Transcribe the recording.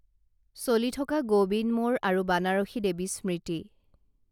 চলি থকা গৌবিন্দমৌৰ আৰু বানাৰসী দেৱী স্মৃতি